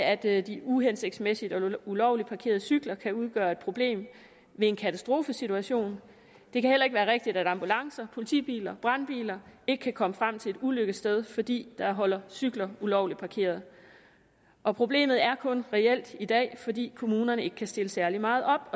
er det at de uhensigtsmæssigt og ulovligt parkerede cykler kan udgøre et problem i en katastrofesituation det kan heller ikke være rigtigt at ambulancer politibiler brandbiler ikke kan komme frem til et ulykkessted fordi der holder cykler ulovligt parkeret og problemet er kun reelt i dag fordi kommunerne ikke kan stille særlig meget op